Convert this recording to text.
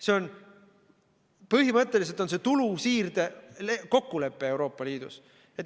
See on põhimõtteliselt tulu siirde kokkulepe Euroopa Liidus.